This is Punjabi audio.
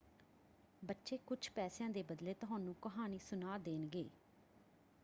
ਬੱਚੇ ਕੁੱਝ ਪੈਸਿਆਂ ਦੇ ਬਦਲੇ ਤੁਹਾਨੂੰ ਕਹਾਣੀ ਸੁਣਾ ਦੇਣਗੇ।